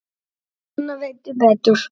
Núna veit ég betur.